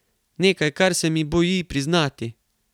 Nekaj, kar se mi boji priznati.